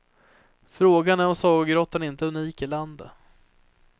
Frågan är om sagogrottan inte är unik i landet.